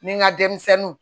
Ni n ka denmisɛnninw